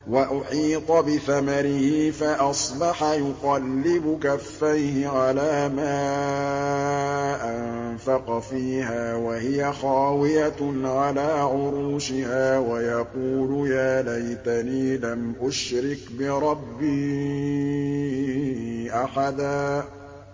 وَأُحِيطَ بِثَمَرِهِ فَأَصْبَحَ يُقَلِّبُ كَفَّيْهِ عَلَىٰ مَا أَنفَقَ فِيهَا وَهِيَ خَاوِيَةٌ عَلَىٰ عُرُوشِهَا وَيَقُولُ يَا لَيْتَنِي لَمْ أُشْرِكْ بِرَبِّي أَحَدًا